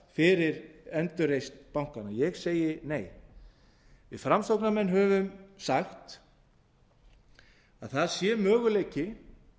fyrir endurreisn bankanna ég segi nei við framsóknarmenn höfum sagt að það sé möguleiki